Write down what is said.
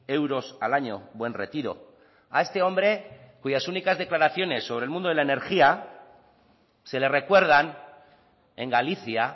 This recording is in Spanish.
euros al año buen retiro a este hombre cuyas únicas declaraciones sobre el mundo de la energía se le recuerdan en galicia